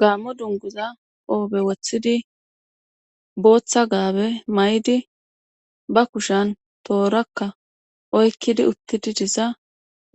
gaammo dunguza oobe wothidi booththa gaabe may7di ba kushan toorakka oykkidi uttidi disa